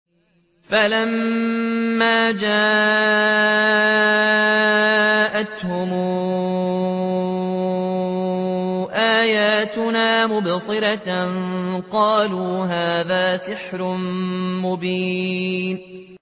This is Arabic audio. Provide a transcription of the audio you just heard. فَلَمَّا جَاءَتْهُمْ آيَاتُنَا مُبْصِرَةً قَالُوا هَٰذَا سِحْرٌ مُّبِينٌ